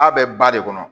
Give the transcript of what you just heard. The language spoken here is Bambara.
A bɛ ba de kɔnɔ